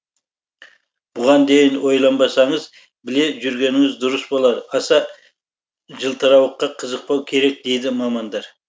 бұған дейін ойланбасаңыз біле жүргеніңіз дұрыс болар аса жылтырауыққа қызықпау керек дейді мамандар